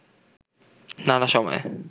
নানা সময়ে